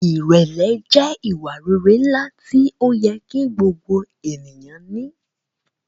Irẹlẹ jẹ iwa-rere nla ti oyẹ ki gbogbo eniyan ni